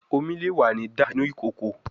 Omi le wa ni dà inu ikoko